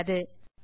இத்துடன் துவக்கலாம்